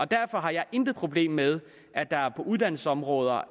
derfor har jeg intet problem med at der på uddannelsesområdet